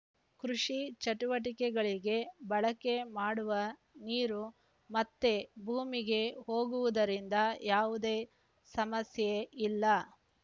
ಕೃಷಿ ಚಟುವಟಿಕೆಗಳಿಗೆ ಬಳಕೆ ಮಾಡುವ ನೀರು ಮತ್ತೆ ಭೂಮಿಗೆ ಹೋಗುವುದರಿಂದ ಯಾವುದೇ ಸಮಸ್ಯೆ ಇಲ್ಲ